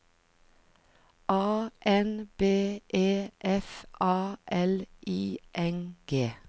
A N B E F A L I N G